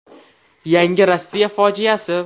Yangi Rossiya fojiasi.